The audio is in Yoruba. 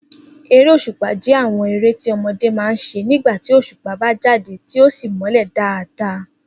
Eré òs̩ùpa jé̩ àwo̩n eré tí o̩mo̩dé máa ń s̩e nígbà tí òs̩ùpá bá jáde tí ó sì mó̩lè̩ dáadáa